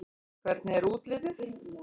Hvernig er útlitið?